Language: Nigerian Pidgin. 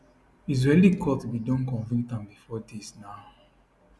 israeli court bin don convict am bifor dis na